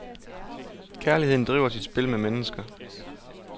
Kærligheden driver sit spil med mennesker.